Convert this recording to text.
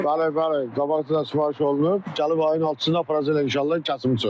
Bəli, bəli, qabaqcadan sifariş olunub, gəlib ayın altısında aparacaqlar inşallah kəsim üçün.